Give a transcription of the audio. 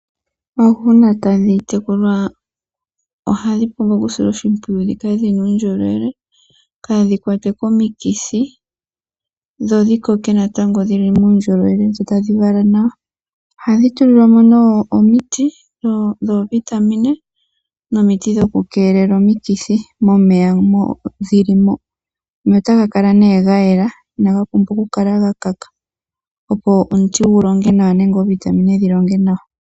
Oohi uuna tadhi tekulwa ohadhi pumbwa okusilwa oshimpwiyu dhi kale dhi na uundjolowele kaadhi kwatwe komikithi dho dhi koke natango dhi li muundjolowele dho tadhi vala nawa. Ohadhi tulilwa mo nee omiti dhoovitamine nomiti dhokukeelela omikithi momeya mo dhi li mo. Omeya otaga kala nee ga yela inaga pumbwa okukala ga kaka, opo omuti gu longe nawa nenge oovitamine dhi longe nawa.